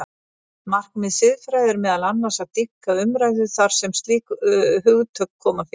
Markmið siðfræði er meðal annars að dýpka umræðu þar sem slík hugtök koma fyrir.